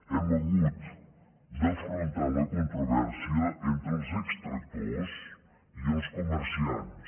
hem hagut d’afrontar la controvèrsia entre els extractors i els comerciants